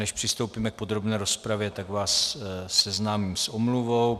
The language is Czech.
Než přistoupíme k podrobné rozpravě, tak vás seznámím s omluvou.